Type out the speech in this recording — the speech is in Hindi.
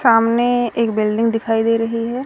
सामने एक बिल्डिंग दिखाई दे रही है।